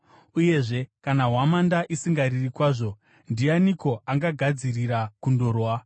Uyezve kana hwamanda isingariri kwazvo, ndianiko angagadzirira kundorwa?